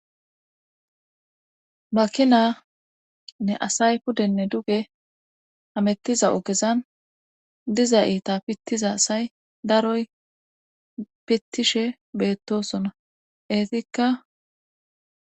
makina nne asay pudenne duge amettiza ogezan diza iita pittiza asay daroy pittishe beettosona eetikka